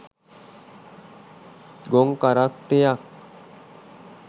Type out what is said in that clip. ගොන් කරත්තයක්.